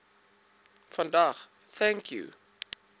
vandag thank you